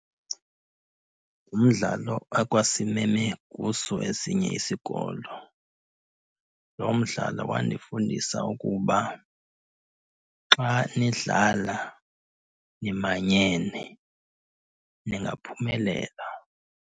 Ngumdlalo akwasimeme kuso esinye isikolo. Loo mdlalo wandifundisa ukuba xa nidlala nimanyene ningaphumelela.